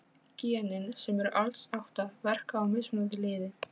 Genin, sem eru alls átta, verka á mismunandi liði.